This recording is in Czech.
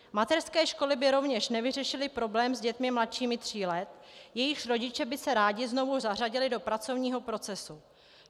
Mateřské školy by rovněž nevyřešily problém s dětmi mladšími tří let, jejichž rodiče by se rádi znovu zařadili do pracovního procesu.